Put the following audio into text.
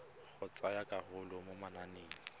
go tsaya karolo mo mananeng